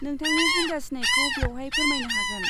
नोंथांनि जिंगा सिनायखौ बेवहाय फोरमायनो हागोन।